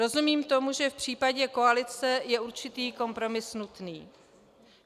Rozumím tomu, že v případě koalice je určitý kompromis nutný.